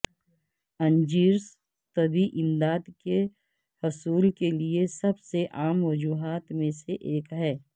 injuries طبی امداد کے حصول کے لئے سب سے عام وجوہات میں سے ایک ہیں